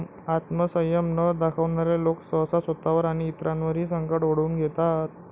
आत्मसंयम न दाखवणारे लोक सहसा स्वतःवर आणि इतरांवरही संकट ओढवून घेतात.